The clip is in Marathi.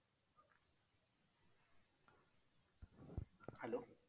Hello